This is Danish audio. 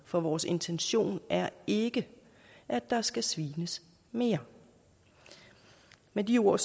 for vores intention er ikke at der skal svines mere med de ord